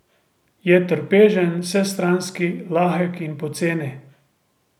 Je trpežen, vsestranski, lahek in poceni.